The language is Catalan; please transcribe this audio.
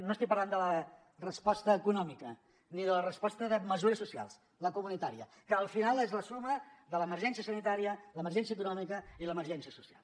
no estic parlant de la resposta econòmica ni de la resposta de mesures socials la comunitària que al final és la suma de l’emergència sanitària l’emergència econòmica i l’emergència social